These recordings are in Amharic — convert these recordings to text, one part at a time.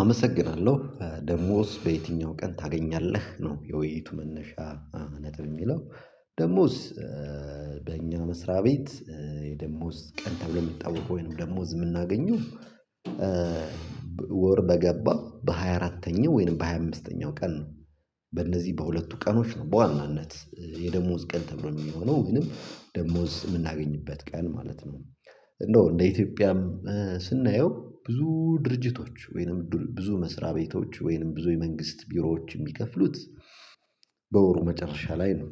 አመሰግናለሁ! ደሞዝ በየትኛው ቀን ታገኛለህ? ነው የውይይቱ መነሻ ነጥብ የሚለው። ደሞዝ በእኛ መስሪያ ቤት የደሞዝ ቀን ተብሎ ሚታወቀው ወይንም ደሞዝ ምናገኘው ወር በገባ በሃያ አራተኛው ወይንም በሃያ አምስተኛው ቀን ነው። በእነዚህ በሁለቱ ቀኖች ነው በዋናነት የደሞዝ ቀን ተብሎ ሚሆነው ወይንም ደሞዝ የምናገኝበት ቀን ማለት ነው። እንደው እንደ ኢትዮጵያም ስናየው ብዙ ድርጅቶች ወይንም ብዙ መስሪያ ቤቶች ወይንም ብዙ የመንግስት ቢሮዎች የሚከፍሉት በወሩ መጨረሻ ላይ ነው።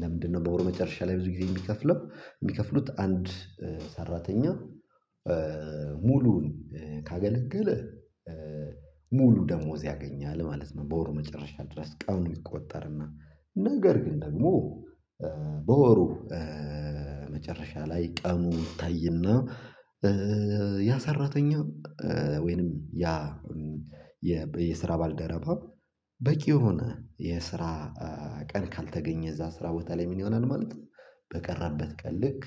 ለምንድነው በወሩ መጨረሻ ላይ ብዙ ጊዜ የሚከፍለው የሚከፍሉት አንድ ሰራተኛ ሙሉውን ካገለገል ሙሉ ደሞዝ ያገኛል ማለት ነው በወሩ መጨረሻ ድረስ ቀኑን ይቆጠርና። ነገር ግን ደግሞ በወሩ መጨረሻ ላይ ቀኑ ይታይና ያ ሰራተኛ ወይንም ያ የስራ ባልደረባ በቂ የሆነ የስራ ቀን ካልተገኘ እዛ ስራ ቦታ ላይ ምን ይሆናል ማለት ነው? በቀረበት ቀን ልክ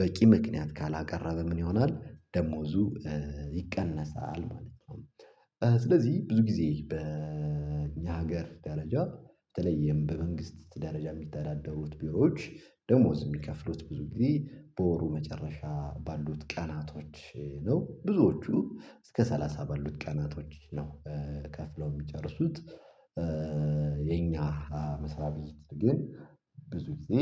በቂ ምክንያት ካላቀረበ ምን ይሆናል ደሞዙ ይቀነሳል ማለት ነው ስለዚህ ብዙ ጊዜ በኛ ሀገር ደረጃ በተለይም በመንግስት ደረጃ ሚተዳደሩት ቢሮዎች ደሞዝ ሚከፍሉት ብዙ ጊዜ በወሩ መጨረሻ ባሉት ቀናቶች ነው። ብዙዎቹ እስከ ሰላሳ ባሉት ቀናቶች ነው ከፍለው ሚጨርሱት። የኛ መስሪያ ቤት ጊዜ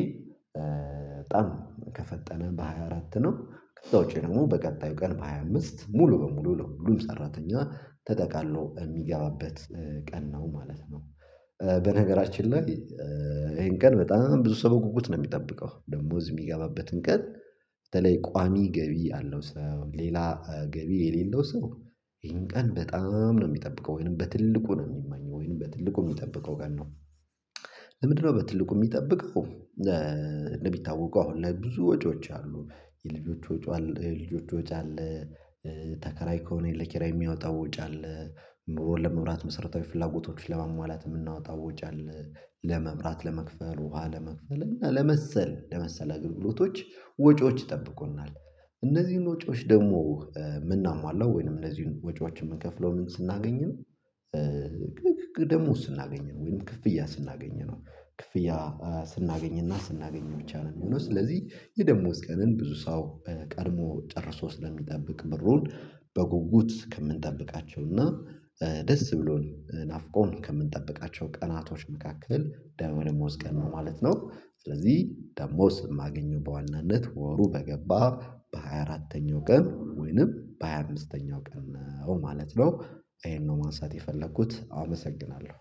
በጣም ከፈጠመ በሃያ አራት ነው ከዛ ውጪ ደግሞ በቀጣዩ ቀን በሃያ አምስት ሙሉ በሙሉ ሁሉም ሰራተኛ ተጠቃሎ የሚገባበት ቀን ነው ማለት ነው። በነገራችን ላይ ይሄን ቀን በጣም ብዙ ሰው በጉጉት ነው ሚጠብቀው። ደሞዝ ሚገባበትን ቀን በተለይ ቋሚ ገቢ ያለው ሰው ሌላ ገቢ የሌለው ሰው ይሄን ቀን በጣም ነው ሚጠብቀው ወይንም በትልቁ ነው ሚመኘው ወይንም በትልቁ ሚጠብቀው ቀን ነው። ለምንድነው በትልቁ ሚጠብቀው? እንደሚታወው አሁን ላይ ብዙ ወጪዎች አሉ። የልጆቹ ወጪዎች አለ ተከራይ ከሆነ ለኪራይ የሚያወጣው ወጪ አለ ለመብራት መሰረታዊ ፍላጎቶች ለማሟላት የምናወጣው ወጪ አለ ለመብራት ለመክፈል ውሃ ለመክፈል እና ለመሰል ለመሰለ አገልግሎቶች ወጪዎች ይጠብቁናል። እነዚህን ወጪዎች ደግሞ ምናሟላው ወይንም እነዚህን ወጪዎችን ምንከፍለው ምን ስናገኝ ነው? ደሞዝ ስናገኝ ነው ወይም ክፍያ ስናገኝ ነው። ክፍያ ስናገኝና ስናገኝ ብቻ ነው ሚሆነው። ስለዚህ የደሞዝ ቀንን ብዙ ሰው ቀድሞ ጨርሶ ስለሚጠብቅ ብሩን በጉጉት ከምንጠብቃቸው እና ደስ ብሎን ናፍቆን ከምንጠብቃቸው ቀናቶች መካከል ደሞዝ ቀን ነው ማለት ነው። ስለዚህ ደሞዝ የማገኘው በዋናነት ወሩ በገባ በሃያ አራተኛው ቀን ወይንም በሃያ አምስተኛው ቀን ነው ማለት ነው። ይሄን ነው ማንሳት የፈለኩት አመሰግናለሁ!